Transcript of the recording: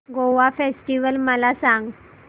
Goa festival मला सांग